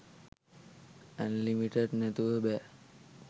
unlimited නැතුව බෑ